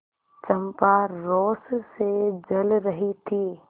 चंपा रोष से जल रही थी